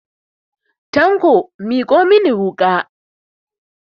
Tanko miƙo mani wuƙa!